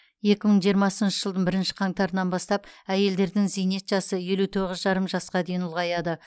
екі мың жиырмасыншы жылдың бірінші қаңтарынан бастап әйелдердің зейнет жасы елу тоғыз жарым жасқа дейін ұлғаяды